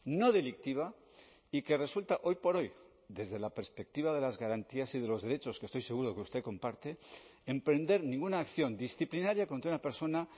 no delictiva y que resulta hoy por hoy desde la perspectiva de las garantías y de los derechos que estoy seguro que usted comparte emprender ninguna acción disciplinaria contra una persona